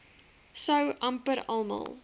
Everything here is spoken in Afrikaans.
sou amper almal